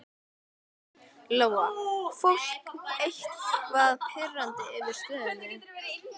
Lóa: Fólk eitthvað pirrað yfir stöðunni?